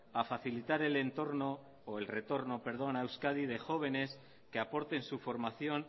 a facilitar el retorno perdón a euskadi de jóvenes que aporten su formación